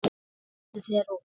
Komdu þér út.